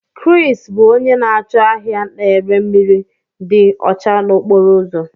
Kris bụ onye na-acho ahia na-ere mmiri dị ọcha n'okporo ụzọ.